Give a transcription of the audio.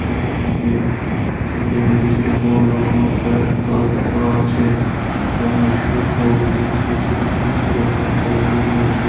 পিছন দিকে কিছুটা বোর্ লাগানো ফ্যান লাইট করা আছে ভাবে দেখতে পাচ্ছি বাঁ হতে থালা নিয়ে তারা দাঁড়িয়ে আছে।